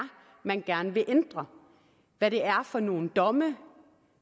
man gerne vil ændre hvad det er for nogle domme